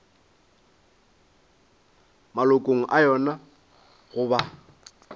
malokong a yona go ba